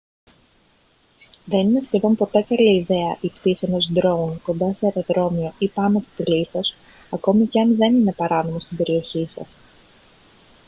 δεν είναι σχεδόν πότε καλή ιδέα η πτήση ενός drone κοντά σε αεροδρόμιο ή πάνω από πλήθος ακόμη και αν δεν είναι παράνομο στην περιοχή σας